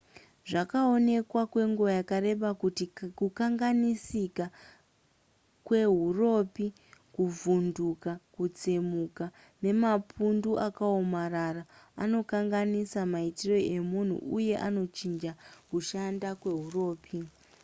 zvakaonekwa kwenguva yakareba kuti kukanganisika kwehuropi kuvhunduka kutsemuka nemapundu akaomarara anokanganisa maitiro emunhu uye anochinja kushanda kweuropi